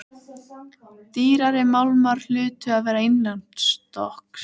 Dýrari málmar hlutu að vera innanstokks.